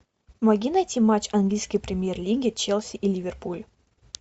помоги найти матч английской премьер лиги челси и ливерпуль